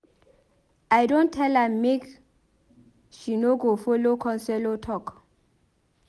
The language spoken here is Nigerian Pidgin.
I don tell am make she go folo counselor talk.